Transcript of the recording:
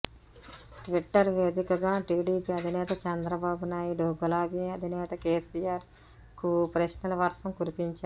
Twitter వేదికగా TDP అధినేత చంద్రబాబు నాయుడు గులాబీ అధినేత కేసీఆర్ కు ప్రశ్నల వర్షం కురిపించారు